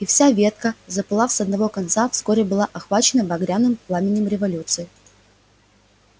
и вся ветка запылав с одного конца вскоре была охвачена багряным пламенем революции